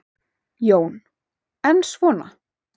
Jón: En svona.